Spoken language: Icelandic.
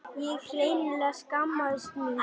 Ég hreinlega skammaðist mín.